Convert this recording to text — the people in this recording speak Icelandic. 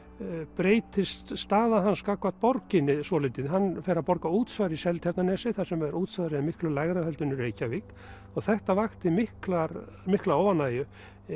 breytist staða hans gagnvart borginni svolítið hann fer að borga útsvar í Seltjarnarnesi þar sem útsvarið er miklu lægra heldur en í Reykjavík og þetta vakti mikla mikla óánægju